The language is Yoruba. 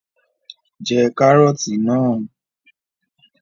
Jẹ Kàrọ́ọ̀tì náà!